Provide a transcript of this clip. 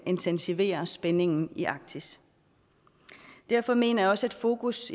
intensivere spændingen i arktis derfor mener jeg også at fokus